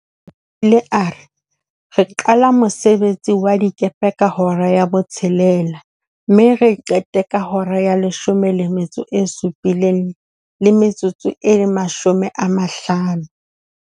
O ile a re, re qala ka mosebetsi wa dikepe ka hora ya botshelela mme re qete ka hora ya leshome le metso e supileng le metsotso e mashome a mahlano.